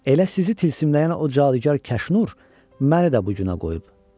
Elə sizi tilsimləyən o cadugar Kaşnur məni də bu günə qoyub.